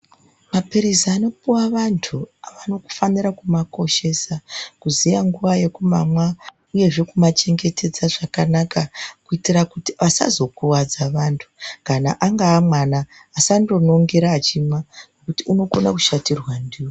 Maphirizi anopuwa vantu vanofanira kumakoshesa. Kuziya nguwa yekumamwa uyezve kumachengetedza zvakanaka kuitira kuti asazokuvadza vantu kana angaa mwana asandonongera achimwa ngekuti unokono kushatirwa ndiwo.